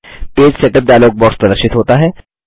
page setup dialog box प्रदर्शित होता है